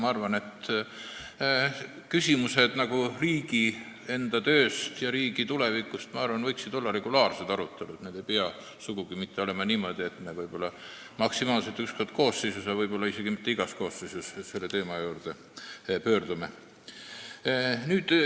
Ma arvan, et küsimused riigi enda töö ja tuleviku kohta võiksid olla regulaarselt arutelul, ei pea sugugi olema niimoodi, et me maksimaalselt üks kord koosseisu jooksul ja võib-olla isegi mitte iga koosseisu ajal selle teema juurde pöördume.